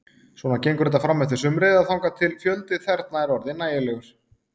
Svona gengur þetta frameftir sumri, eða þangað til fjöldi þerna er orðinn nægilegur.